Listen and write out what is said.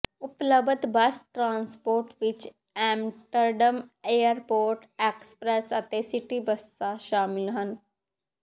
ਉਪਲਬਧ bus transport ਵਿੱਚ Amsterdam airport express ਅਤੇ ਸਿਟੀ ਬੱਸਾਂ ਸ਼ਾਮਲ ਹਨ